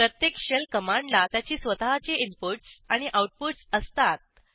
प्रत्येक शेल कमांडला त्याची स्वतःची इनपुटस आणि आऊटपुटस असतात